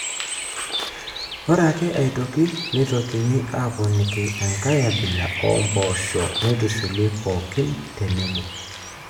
Ore ake aitoki neitokini aaponiki enkae abila oompoosho neitushuli pookin tenebo.